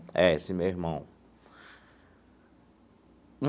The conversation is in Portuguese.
É, esse meu irmão.